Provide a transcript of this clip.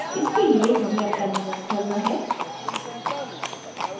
इसके लिए हमें terminal खोलना है